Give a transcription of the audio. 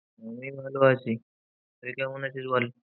আমি ভালো আছি। তুই কেমন আছিস বল?